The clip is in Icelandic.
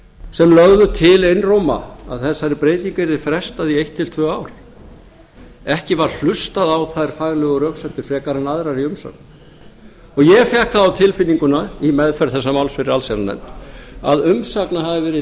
sem lögðu til einróma að þessari breytingu yrði frestað í eitt til tvö ár ekki var hlustað á þær faglegu röksemdir frekar en aðrar í umsögn ég fékk það á tilfinninguna í meðferð þessa máls fyrir allsherjarnefnd að umsagna